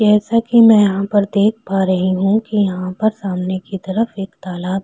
जैसा कि मैं यहाँ पर देख पा रही हूं कि यहाँ पर सामने की तरफ एक तालाब--